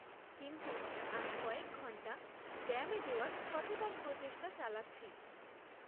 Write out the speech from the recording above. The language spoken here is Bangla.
কিন্তু আমি কয়েক ঘণ্টা ব্যায়ামে দেওয়ার সচেতন প্রচেষ্টা চালাচ্ছি।